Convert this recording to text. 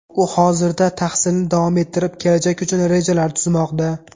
U hozirda tahsilni davom ettirib, kelajak uchun rejalar tuzmoqda.